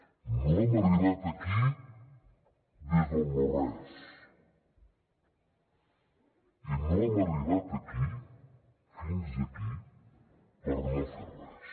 no hem arribat aquí des del no res i no hem arribat fins aquí per no fer res